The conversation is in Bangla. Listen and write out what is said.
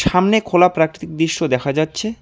সামনে খোলা প্রাকৃতিক দৃশ্য দেখা যাচ্ছে।